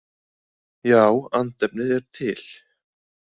Já, andefni er til.